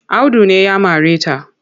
Audu ne ya mare ta.